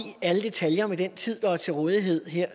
alle detaljer med den tid der er til rådighed her